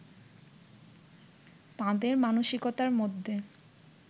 তাঁদের মানসিকতার মধ্যে